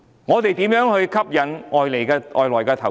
我們如何吸引外來投資？